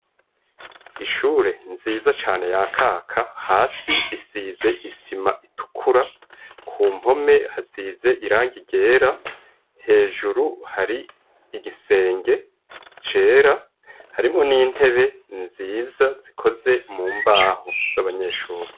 ishure nziza cane ya kaka hasi isize isima itukura ku mpome hasize irangi ryera hejuru hari igisenge cera harimwo n'intebe nziza zikoze mu mbaho z'abanyeshure